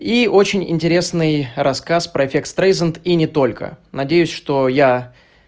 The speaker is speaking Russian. и очень интересный рассказ про эффект стрейзанд и не только надеюсь что я